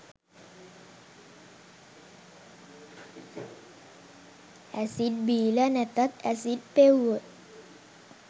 acid බීල නැතත් acid පෙව්වොත්